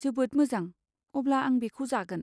जोबोद मोजां, अब्ला आं बेखौ जागोन।